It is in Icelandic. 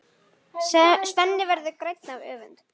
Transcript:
Svenni verður grænn af öfund.